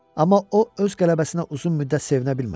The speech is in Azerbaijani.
Amma o öz qələbəsinə uzun müddət sevinə bilmədi.